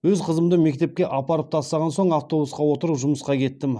өз қызымды мектепке апарып тастаған соң автобусқа отырып жұмысқа кеттім